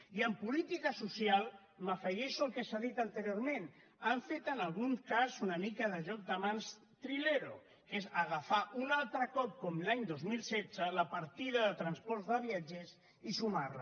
i en política social m’afegeixo al que s’ha dit anteriorment han fet en algun cas una mica de joc de mans trilero que és agafar un altre cop com l’any dos mil setze la partida de transports de viatgers i sumar la